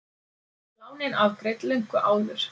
Lánin afgreidd löngu áður